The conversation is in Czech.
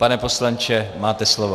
Pane poslanče, máte slovo.